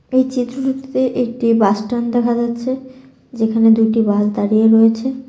এই চিত্রটিতে একটি বাস স্ট্যান্ড দেখা যাচ্ছে যেখানে দুইটি বাস দাঁড়িয়ে রয়েছে।